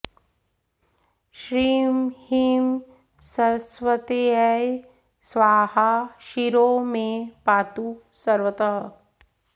श्रीं ह्रीं सरस्वत्यै स्वाहा शिरो मे पातु सर्वतः